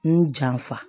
N janfa